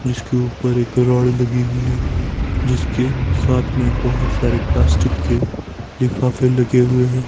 जिसके ऊपर एक रॉड लगी हुई है जिसके साथ में बहुत सारे प्लास्टिक के लिफाफे लगे हुए हैं।